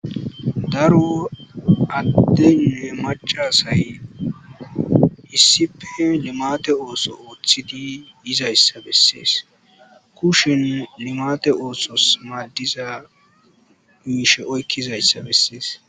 Darro adeynne macca asay issippe limatte osso othidi yidayssa besses kushen limathe ossos madizza mishe oykidayssa besses.